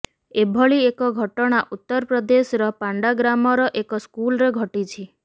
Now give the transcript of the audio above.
ଏଭଳି ଏକ ଘଟଣା ଉତ୍ତର ପ୍ରଦେଶର ପାଣ୍ଡାଗ୍ରାମର ଏକ ସ୍କୁଲରେ ଘଟିଛି